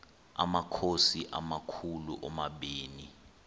amakhosi amakhulu omabini